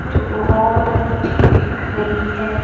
जो बहुत अच्छी दिख रही है।